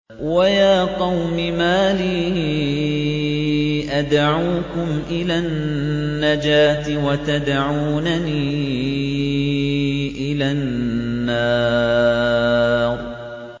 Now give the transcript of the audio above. ۞ وَيَا قَوْمِ مَا لِي أَدْعُوكُمْ إِلَى النَّجَاةِ وَتَدْعُونَنِي إِلَى النَّارِ